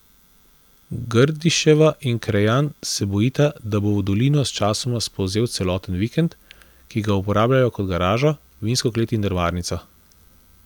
Grdiševa in Krejan se bojita, da bo v dolino sčasoma spolzel celoten vikend, ki ga uporabljajo kot garažo, vinsko klet in drvarnico.